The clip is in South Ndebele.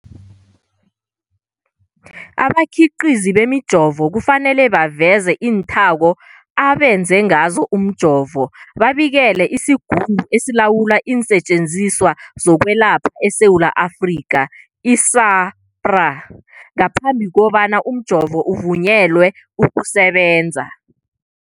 Abakhiqizi bemijovo kufanele baveze iinthako abenze ngazo umjovo, babikele isiGungu esiLawula iinSetjenziswa zokweLapha eSewula Afrika, i-SAHPRA, ngaphambi kobana umjovo uvunyelwe ukusebenza.